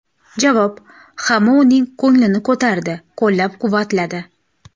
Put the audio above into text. Javob: Hamma uning ko‘nglini ko‘tardi, qo‘llab-quvvatladi.